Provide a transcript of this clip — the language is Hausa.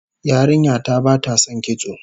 Yarinya ta bata son kitso